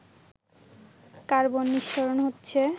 carbon নিঃসরণ হচ্ছে